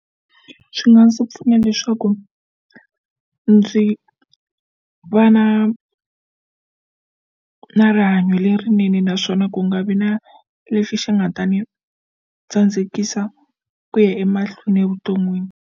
Swi nga ndzi pfuna leswaku ndzi va na na rihanyo lerinene naswona ku nga vi na lexi xi nga ta ni tsandzekisa ku ya emahlweni evuton'wini.